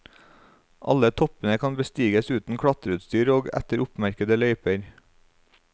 Alle toppene kan bestiges uten klatreutstyr og etter oppmerkede løyper.